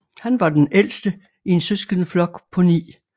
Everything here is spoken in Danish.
Han var den ældste i en søskendeflok på ni